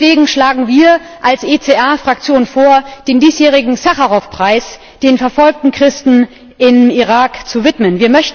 Und deswegen schlagen wir als ECR Fraktion vor, den diesjährigen Sacharow Preis den verfolgten Christen im Irak zu widmen.